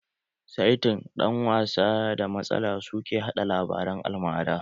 Saitin, ɗan wasan da matsala su ke haɗa labaran almara.